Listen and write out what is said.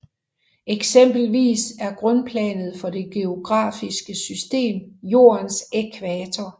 Eksempelvis er grundplanet for det geografiske system Jordens ækvator